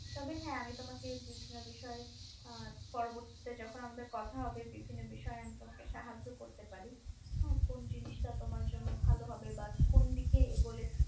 তবে হ্যাঁ আমি তোমাকে বিভিন্ন বিষয়ে পরবর্তীতে যখন আমাদের কথা হবে বিভিন্ন বিষয়ে আমি তোমাকে সাহায্য করতে পারি কোন জিনিসটা তোমার জন্য ভালো হবে বা কোন দিকে এগোলে